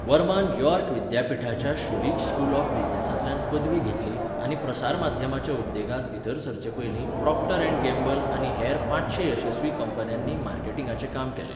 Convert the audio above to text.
वर्मान York विद्यापिठाच्या शुलीच school of बिझनेसांतल्यान पदवी घेतली आनी प्रसारमाध्यमाच्या उद्येगांत भीतर सरचे पयलीं प्रॉक्टर अँड गॅम्बल आनी हेर पांचशें येसस्वी कंपन्यांनी मार्केटिंगांचें काम केलें.